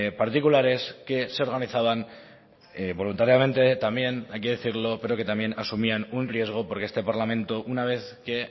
particulares que se organizaban voluntariamente también hay que decirlo pero que también asumían un riesgo porque este parlamento una vez que